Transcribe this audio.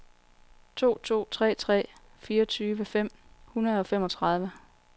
to to tre tre fireogtyve fem hundrede og femogtredive